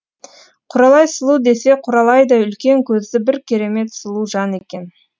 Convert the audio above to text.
құралай сұлу десе құралайдай үлкен көзді бір керемет сұлу жан екен